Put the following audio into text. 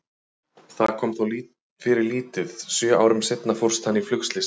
Það kom þó fyrir lítið, sjö árum seinna fórst hann í flugslysi.